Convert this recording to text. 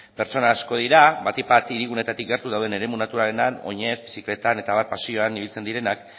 pertsona asko dira batik bat hiriguneetatik gertu dauden eremu naturaletan oinez bizikletan eta abar paseoan ibiltzen direnak